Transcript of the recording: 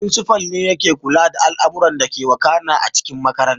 Firinsifal ne yake kula da al'amuran dake wakana a cikin makarantar